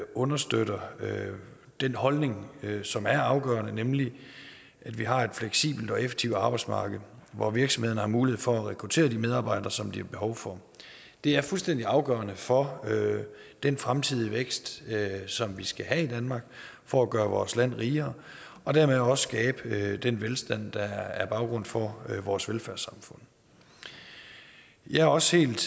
understøtter den holdning som er afgørende nemlig at vi har et fleksibelt og effektivt arbejdsmarked hvor virksomhederne har mulighed for at rekruttere de medarbejdere som de har behov for det er fuldstændig afgørende for den fremtidige vækst som vi skal have i danmark for at gøre vores land rigere og dermed også skabe den velstand der er baggrund for vores velfærdssamfund jeg er også helt